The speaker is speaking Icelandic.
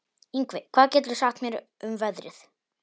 Yngvi, hvað geturðu sagt mér um veðrið?